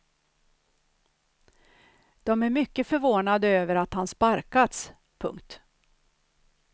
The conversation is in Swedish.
De är mycket förvånade över att han sparkats. punkt